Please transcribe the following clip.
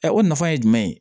o nafa ye jumɛn ye